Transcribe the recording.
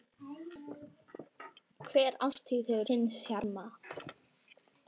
Hver árstíð hefur sinn sjarma.